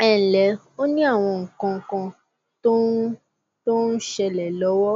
ẹ ǹlẹ ó ní àwọn nǹkan tó ń tó ń ṣẹlẹ lọwọ